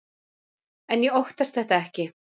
En ég óttast þetta ekki.